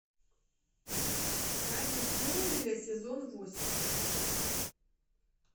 тайны смолвиля сезон восемь